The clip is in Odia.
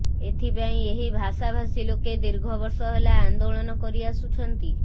ଏଥିପାଇଁ ଏହି ଭାଷାଭାଷୀ ଲୋକେ ଦୀର୍ଘ ବର୍ଷ ହେଲା ଆନ୍ଦୋଳନ କରିଆସୁଛନ୍ତି